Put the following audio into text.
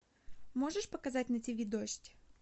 можешь показать на тиви дождь